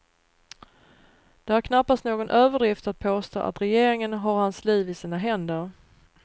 Det är knappast någon överdrift att påstå att regeringen har hans liv i sina händer.